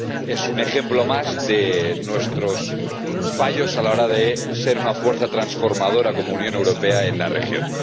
Es un ejemplo más de nuestros fallos a la hora de ser una fuerza transformadora, como Unión Europea, en la región.